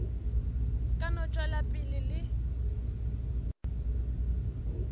ka no tšwela pele le